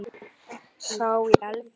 Sá í Efra.